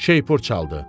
Şeypur çaldı.